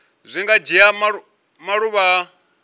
zwi nga dzhia maḓuvha a